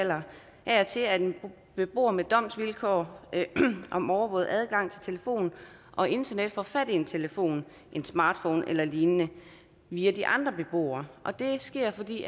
af og til at en beboer med domsvilkår om overvåget adgang til telefon og internet får fat i en telefon en smartphone eller lignende via de andre beboere og det sker fordi